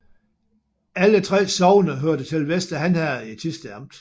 Alle 3 sogne hørte til Vester Han Herred i Thisted Amt